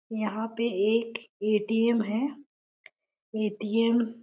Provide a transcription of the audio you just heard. यहाँ पर एक ए.टी.एम है ए.टी.एम --